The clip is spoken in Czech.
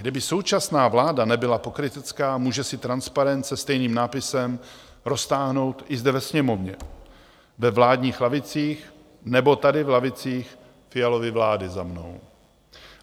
Kdyby současná vláda nebyla pokrytecká, může si transparent se stejným nápisem roztáhnout i zde ve Sněmovně, ve vládních lavicích nebo tady v lavicích Fialovy vlády za mnou.